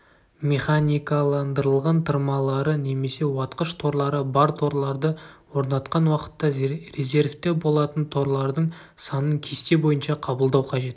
механикаландырылған тырмалары немесе уатқыш-торлары бар торларды орнатқан уақытта резервте болатын торлардың санын кесте бойынша қабылдау қажет